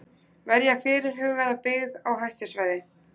Verja fyrirhugaða byggð á hættusvæði.